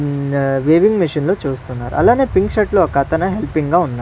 ఉమ్ ah weaving machine లో చూస్తున్నారు అలానే పింక్ షర్ట్ లో ఒకతను హెల్పింగ్ గా ఉన్న--